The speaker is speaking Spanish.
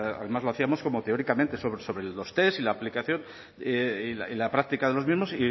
además lo hacíamos como teóricamente sobre los test y la aplicación y la práctica de los mismos